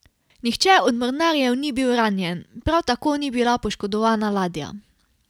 Nihče od mornarjev ni bil ranjen, prav tako ni bila poškodovana ladja.